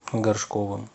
горшковым